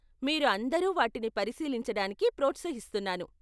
మీరు అందరు వాటిని పరిశీలించడానికి ప్రోత్సహిస్తున్నాను.